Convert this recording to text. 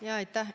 Aitäh!